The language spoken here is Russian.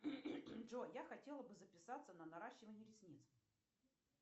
джой я хотела бы записаться на наращивание ресниц